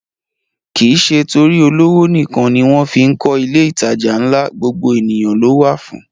Kìí ṣe torí olówó nìkan ni wọ́n fí ń kọ ilé ìtajà ńlá, gbogbo ènìyàn ló wà fún